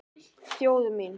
Þjóð mín!